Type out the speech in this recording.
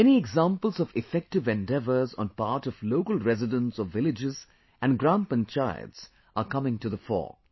Many examples of effective endeavours on part of local residents of villages & Gram Panchayats are coming to the fore